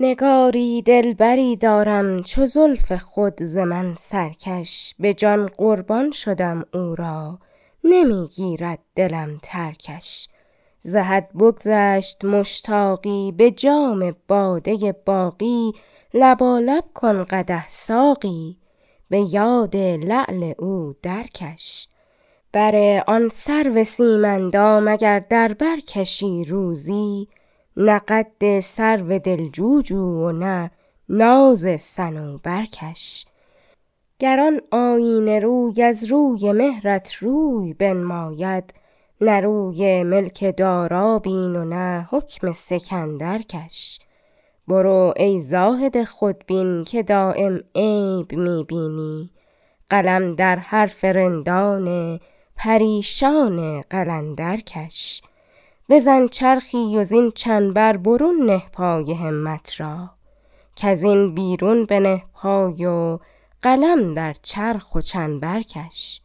نگاری دلبری دارم چو زلف خود ز من سرکش به جان قربان شدم او را نمیگیرد دلم ترکش ز حد بگذشت مشتاقی به جام باده ی باقی لبالب کن قدح ساقی به یاد لعل او درکش بر آن سرو سیم اندام اگر در بر کشی روزی نه قد سرو دلجو جو و نه ناز صنوبر کش گر آن آیینه روی از روی مهرت روی بنماید نه روی ملک دارا بین و نه حکم سکندر کش برو ای زاهد خودبین مه دایم عیب می بینی قلم در حرف رندان پریشان قلندر کش بزن چرخی و زین چنبر برون نه پای همت را کزین بیرون بنه پای و قلم در چرخ و چنبر کش